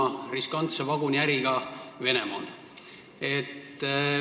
Mõtlen muidugi riskantset vaguniäri Venemaal.